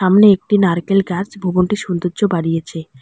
সামোনে একটি নারকেল গাছ ভবনটির সৌন্দর্য বাড়িয়েছে।